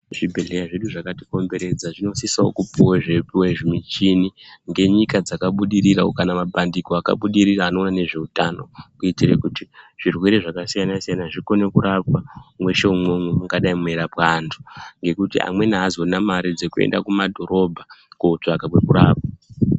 Zvibhedhlera zvedu zvakatikomberedza zvinosisawo kupuwe zvimichini ngenyika dzakabudirira kana mabhandiko akabudirira anoona ngezveutano kuitire kuti zvirwere zvakasiyana -siyana zvikone kurapwa mweshe umwomwo mungadai mweirapwa antu ngekuti amweni aazorina dzekuende kumadhorobha kootsvake kwekurapwa.